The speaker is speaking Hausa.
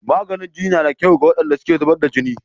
Maganin jini na da kyau ga waɗanda suka zubar da jini.